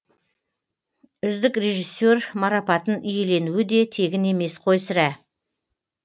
үздік режиссер марапатын иеленуі де тегін емес қой сірә